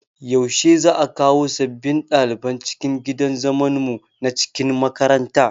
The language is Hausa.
Yaushe za'a kawo sabbin ɗaliban cikin gidan zaman mu na cikin makaranta?